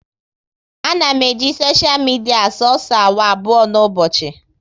A na m eji soshia midia soso awa abụọ n'ụbọchị